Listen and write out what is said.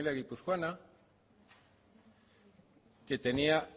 guipuzcoana que tenía